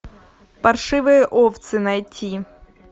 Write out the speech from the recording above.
паршивые овцы найти